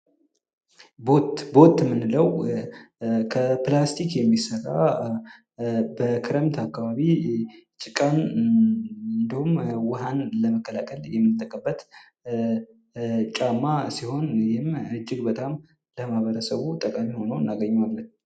ቦት ። ቦት ምንለው ከፕላስቲክ የሚሰራ በክረምት አካባቢ ጭቃን እንዲሁም ውሃን ለመከላከል የምንጠቀበት ጫማ ሲሆን ይህም እጅግ በጣም ለማኅበረሰቡ ጠቃሚ ሁኖ እናገኘዋለን ።